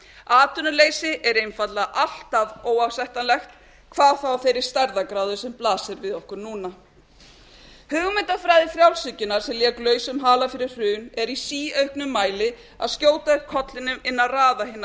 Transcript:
atvinnuleysi er einfaldlega alltaf óásættanlegt hvað þá af þeirri stærðargráðu sem blasir við okkur núna hugmyndafræði frjálshyggjunnar sem lék lausum hala fyrir hrun er í síauknum mæli að skjóta upp kollinum innan raða hinnar